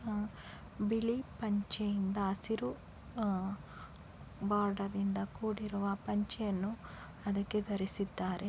ಬಿಳಿ ಪಂಚೆಯಿಂದ ಹಸಿರು ಬಾರ್ಡರ್ ಇಂದ ಕೂಡಿರುವ ಪಂಚೆಯನ್ನು ಅದಕ್ಕೆ ಧರಿಸಿದ್ದಾರೆ.